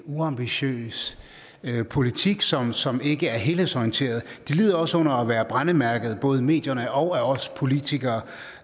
uambitiøs politik som som ikke er helhedsorienteret de lider også under at være brændemærket både af medierne og af os politikere